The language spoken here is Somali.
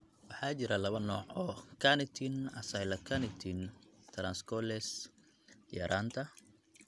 Waxaa jira laba nooc oo carnitine acylcarnitine translocase yaraanta.